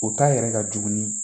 O ta yɛrɛ ka jugu